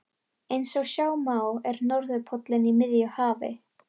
Eins og sjá má er norðurpóllinn í miðju hafi.